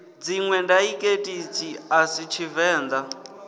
dziṋwe daiḽekithi a si tshivenḓa